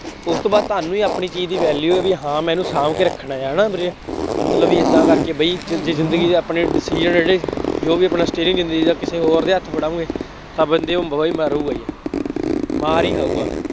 ਉਸ ਤੋਂ ਬਾਅਦ ਤੁਹਾਨੂੰ ਹੀ ਆਪਣੀ ਚੀਜ਼ ਦੀ value ਹੈ, ਬਈ ਹਾਂ ਮੈਂ ਇਹਨੂੰ ਸ਼ਾਂਭ ਕੇ ਰੱਖਣਾ ਹੈ, ਹੈ ਨਾ, ਵੀਰੇ, ਮਤਲਬ ਬਈ ਏਦਾਂ ਕਰਕੇ ਬਈ ਜ਼ਿੰਦਗੀ ਦਾ ਆਪਣੀ decision ਜੋ ਵੀ ਆਪਣਾ ਸਟੇਰਿੰਅਗ ਜ਼ਿੰਦਗੀ ਦਾ ਕਿਸੇ ਹੋਰ ਦੇ ਹੱਥ ਫੜਾਉਗੇ, ਤਾਂ ਬੰਦੇ ਉਹ ਮਾਰੂਗਾ ਹੀ। ਮਾਰ ਹੀ ਖਾਊਗਾ।